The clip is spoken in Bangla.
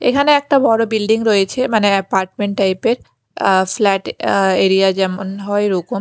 এখানে একটা বড়ো বিল্ডিং রয়েছে মানে অ্যাপার্টমেন্ট টাইপ -এর আঃ ফ্ল্যাট আঃ এরিয়া যেমন হয় ওরকম।